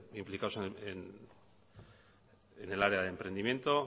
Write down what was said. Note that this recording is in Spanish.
implicado en el área de emprendimiento